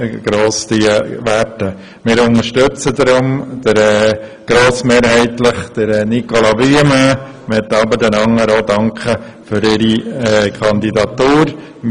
Deshalb unterstützen wir grossmehrheitlich Nicolas Wuillemin, möchten aber auch den anderen für ihre Kandidatur danken.